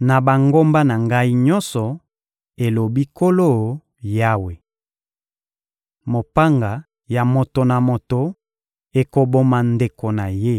na bangomba na Ngai nyonso, elobi Nkolo Yawe. Mopanga ya moto na moto ekoboma ndeko na ye.